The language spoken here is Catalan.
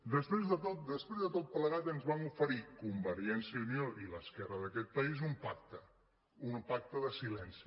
després de tot plegat ens van oferir convergència i unió i l’esquerra d’aquest país un pacte un pacte de silenci